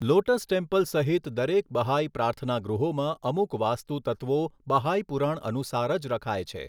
Lotus temple સહીત દરેક Baha'i પ્રાર્થનાગૃહોમાં અમુક વાસ્તુ તત્વો બહાઈ પુરાણ અનુસાર જ રખાય છે.